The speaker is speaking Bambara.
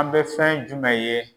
An bɛ fɛn jumɛn ye